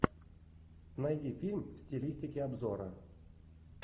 найди фильм в стилистике обзора